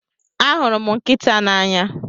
ahụrụ m nkịta n'anya